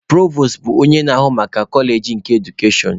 Provos bụ onye na-ahụ maka koleji nke edukashọn.